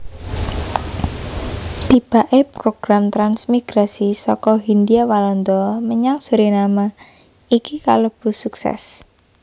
Tibaké program transmigrasi saka Hindhia Walanda menyang Suriname iki kalebu suksès